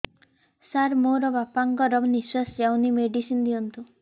ସାର ମୋର ବାପା ଙ୍କର ନିଃଶ୍ବାସ ଯାଉନି ମେଡିସିନ ଦିଅନ୍ତୁ